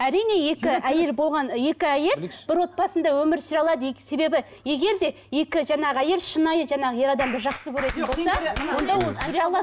әрине екі әйел болған екі әйел бір отбасында өмір сүре алады себебі егер де екі жаңағы әйел шынайы жаңағы ер адамды жақсы көретін болса онда ол сүре алады